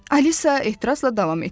Alisa etirazla davam etdi.